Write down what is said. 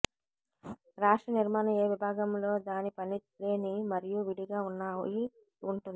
రాష్ట్ర నిర్మాణం ఏ విభాగంలో దాని పని లేని మరియు విడిగా ఉన్నాయి ఉంటుంది